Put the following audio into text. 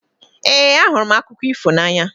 Ee, ahụrụ m akụkọ ifo n'anya